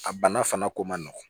A bana fana ko man nɔgɔn